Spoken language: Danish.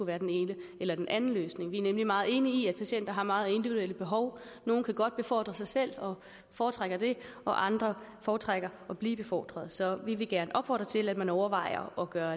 være den ene eller den anden løsning vi er nemlig meget enige i at patienter har meget individuelle behov nogle kan godt befordre sig selv og foretrækker det og andre foretrækker at blive befordret så vi vil gerne opfordre til at man overvejer at gøre